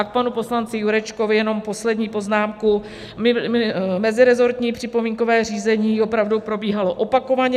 A k panu poslanci Jurečkovi jenom poslední poznámku: meziresortní připomínkové řízení opravdu probíhalo opakovaně.